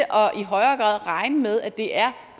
i højere grad at regne med at det er